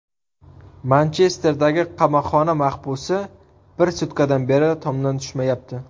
Manchesterdagi qamoqxona mahbusi bir sutkadan beri tomdan tushmayapti.